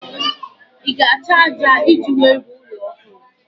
Ị ga-achọ ájá iji wee rụọ ụlọ ọhụrụ